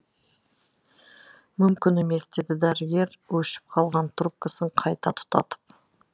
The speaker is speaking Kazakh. мүмкін емес деді дәрігер өшіп қалған трубкасын қайта тұтатып